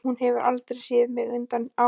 Hún hefur aldrei séð mig undir áhrifum.